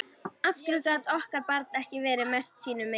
Af hverju gat okkar barn ekki verið merkt sínu meini?